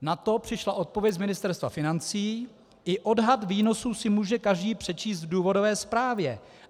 Na to přišla odpověď z Ministerstva financí: I odhad výnosů si může každý přečíst v důvodové zprávě.